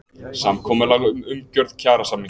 Samkomulag um umgjörð kjarasamninga